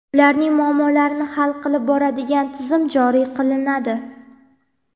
ularning muammolarini hal qilib boradigan tizim joriy qilinadi.